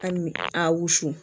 Ali a wusu